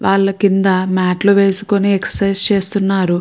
వాల కింద మాట్లు వేసుకొని ఎక్ససైజ్ చేస్తున్నారు.